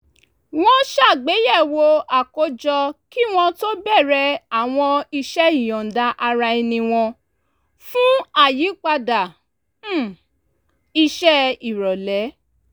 wọ́n ṣàgbéyẹ̀wò àkójọ kí wọ́n tó bẹ̀rẹ̀ àwọn iṣẹ́ ìyọ̀ǹda-ara-ẹni wọn fún àyípadà um iṣẹ́ ìrọ̀lẹ́